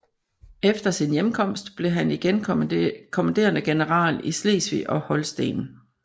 Efter sin hjemkomst blev han igen kommanderende general i Slesvig og Holsten